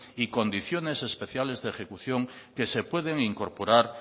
y condiciones especiales de ejecución que se pueden incorporar